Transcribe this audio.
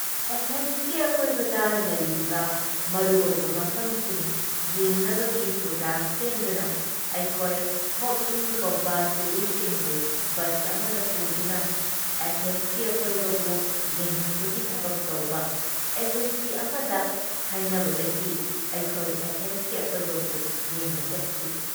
ꯑꯦꯊꯦꯟꯁꯀꯤ ꯑꯀꯣꯏꯕꯗ ꯂꯩꯔꯤꯕ ꯃꯔꯨ ꯑꯣꯏꯕ ꯃꯐꯝꯁꯤꯡ ꯌꯦꯡꯅꯕꯒꯤ ꯄ꯭ꯔꯣꯒ꯭ꯔꯥꯝ ꯁꯦꯝꯗꯨꯅ ꯑꯩꯈꯣꯏ ꯍꯣꯞ ꯏꯟ ꯀꯧꯕ ꯇꯨꯔꯤꯁꯁꯤꯡꯕꯨ ꯕꯁ ꯑꯃꯗ ꯄꯨꯗꯨꯅ ꯑꯦꯊꯦꯟꯁꯀꯤ ꯑꯀꯣꯏꯕꯕꯨ ꯌꯦꯡꯍꯟꯕꯒꯤ ꯊꯕꯛ ꯇꯧꯕ ꯑꯦꯖꯦꯟꯁꯤ ꯑꯃꯗ ꯍꯥꯏꯅꯕꯗꯒꯤ ꯑꯩꯈꯣꯏ ꯑꯦꯊꯦꯟꯁꯀꯤ ꯑꯀꯣꯏꯕꯕꯨ ꯌꯦꯡꯕ ꯆꯠꯈꯤ ꯫